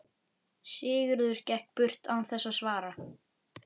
Sigurður gekk burt án þess að svara.